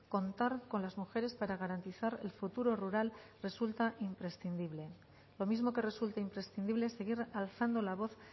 contar con las mujeres para garantizar el futuro rural resulta imprescindible lo mismo que resulta imprescindible seguir alzando la voz